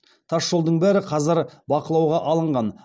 тасжолдың бәрі қазір бақылауға алынған